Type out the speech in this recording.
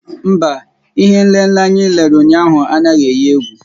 Mba, ihé nlélé anyị lere ụnyaahụ anaghị eyi égwú